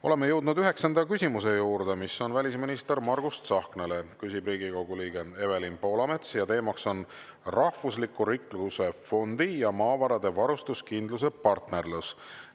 Oleme jõudnud üheksanda küsimuse juurde, mis on välisminister Margus Tsahknale, küsib Riigikogu liige Evelin Poolamets ja teema on rahvusliku rikkuse fond ja Maavarade Varustuskindluse Partnerlus.